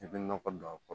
I bɛ nɔgɔ don a kɔrɔ